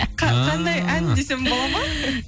қандай ән десем болады ма